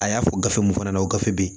A y'a fɔ gafe mun fana na o gafe bɛ yen